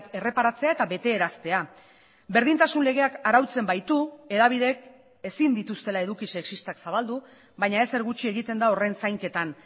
erreparatzea eta betearaztea berdintasun legeak arautzen baitu hedabideek ezin dituztela eduki sexistak zabaldu baina ezer gutxi egiten da horren zainketan